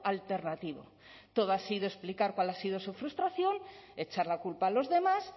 alternativo todo ha sido explicar cuál ha sido su frustración echar la culpa a los demás